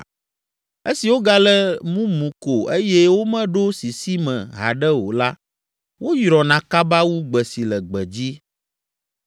Esi wogale mumu ko eye womeɖo sisi me haɖe o la, woyrɔna kaba wu gbe si le gbedzi.